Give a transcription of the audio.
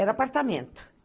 Era apartamento.